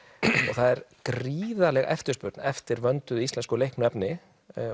það er gríðarleg eftirspurn eftir vönduðu íslensku leiknu efni